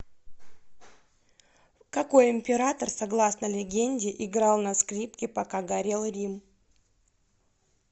какой император согласно легенде играл на скрипке пока горел рим